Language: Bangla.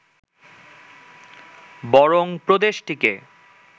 বরং প্রদেশটিকে